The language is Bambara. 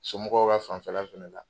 Somɔgɔw bɛ a fanfɛ la fana la.